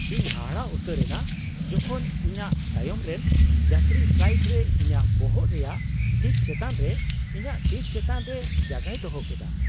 ᱤᱧ ᱦᱟᱦᱟᱲᱟᱜ ᱩᱛᱟᱹᱨ ᱮᱱᱟ ᱡᱚᱠᱷᱚᱱ ᱤᱧᱟᱹᱜ ᱛᱟᱭᱚᱢ ᱨᱮᱱ ᱡᱟᱛᱨᱤ ᱯᱷᱞᱟᱭᱤᱴ ᱨᱮ ᱤᱧᱟᱹᱜ ᱵᱚᱦᱚᱜ ᱨᱮᱭᱟᱜ ᱴᱷᱤᱠ ᱪᱮᱛᱟᱱ ᱨᱮ ᱤᱧᱟᱹᱜ ᱥᱤᱴ ᱪᱮᱛᱟᱱ ᱨᱮ ᱡᱟᱸᱜᱟᱭ ᱫᱚᱦᱚ ᱠᱮᱫᱟ !